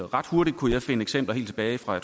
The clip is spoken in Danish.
ret hurtigt finde eksempler helt tilbage fra